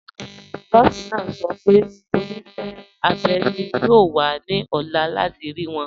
Nọọ̀si naa sọ̀ pẹ̀ onísẹ̀ abẹ́ naa yóò wà ní ọ̀là láti rí wọn.